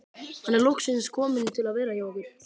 Hann er loksins kominn til að vera hjá okkur.